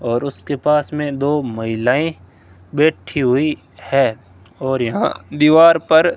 और उसके पास में दो महिलाएं बैठी हुई है और यहां दीवार पर --